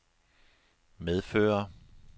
medfører